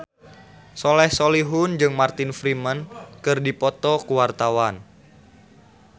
Soleh Solihun jeung Martin Freeman keur dipoto ku wartawan